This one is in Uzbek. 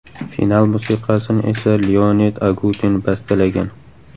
Final musiqasini esa Leonid Agutin bastalagan.